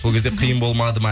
сол кезде қиын болмады ма